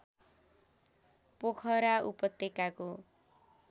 पोखरा उपत्यकाको